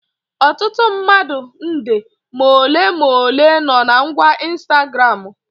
Ọtụtụ mmadụ nde ma ole ma ole no na ngwa Ịnstagramụ